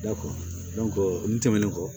Da n tɛmɛnen kɔ